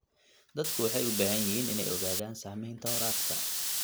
Dadku waxay u baahan yihiin inay ogaadaan saamaynta waraabka.